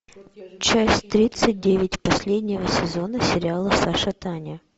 часть тридцать девять последнего сезона сериала саша таня